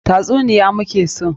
Tatsuniya mu ke so!